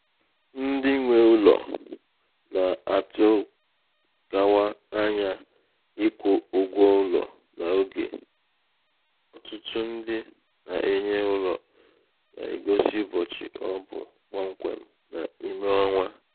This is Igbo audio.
ndị um nwē ụlọ̀ um nà-àtụkawa anya ịkwū ụgwọụlọ n’ogè ọ̀tụtụ ndị na-enye ụlọ̀ nà-ègosi ụbọ̀chị̀ ọ bụ̀ kpọmkwèm um n’ime ọnwā